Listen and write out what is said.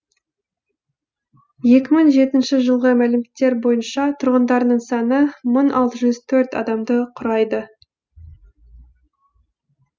екі мың жетінші жылғы мәліметтер бойынша тұрғындарының саны мың алты жүз төртінші адамды құрайды